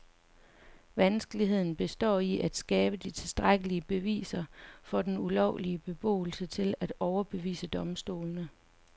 Vanskeligheden består i at skabe de tilstrækkelige beviser for den ulovlige beboelse til at overbevise domstolene.